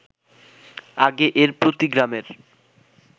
আগে এর প্রতি গ্রামের